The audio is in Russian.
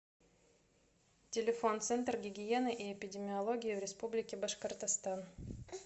телефон центр гигиены и эпидемиологии в республике башкортостан